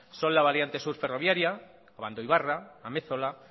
son la variante sur ferroviaria abandoibarra amezola